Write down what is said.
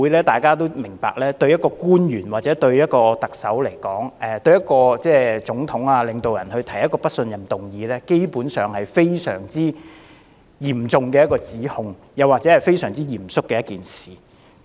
大家都明白，在外國的議會對一位官員或總統、領導人提出不信任議案，是非常嚴重的指控或非常嚴肅的一件事。